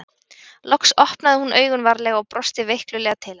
Loks opnaði hún augun varlega og brosti veiklulega til hans.